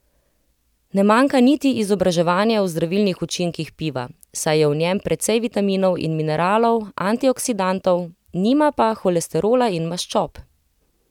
Ne manjka niti izobraževanje o zdravilnih učinkih piva, saj je v njem precej vitaminov in mineralov, antioksidantov, nima pa holesterola in maščob.